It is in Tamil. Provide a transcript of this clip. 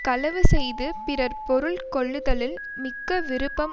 களவு செய்து பிறர் பொருள் கொள்ளுதலில் மிக்க விருப்பம்